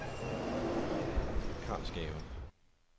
Karlsgave